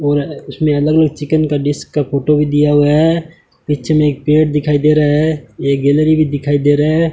और उसमे अलग अलग चिकन का डिश का फोटो भी दिया हुआ है पीछे में पेड़ दिखाई दे रहा है एक गैलरी भी दिखाई दे रहा है।